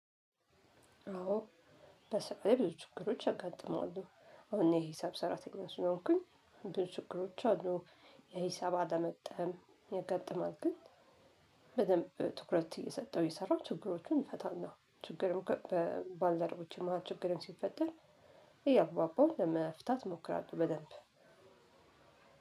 አዎ በሱቅ ላይ ብዙ ችግሮች ያጋጥማሉ አሁን እኔ ሂሳብ ሰራተኛ ስለሆንኩኝ ብዙ ችግሮች አሉ። የሂሳብ አለመግጠም ያጋጥማል ግን በደንብ ትኩረት እየሰጠሁ እየሰራሁ ችግሮችን እፈታለሁ። ችግርም ባልደረቦችም ችግርም ሲፈጠር እያግባባሁ ለመፍታት እሞክራለሁ። በደንብ